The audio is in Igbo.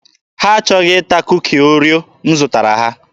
Ha achọghị ịta Kuki Oreo m zụtara ha.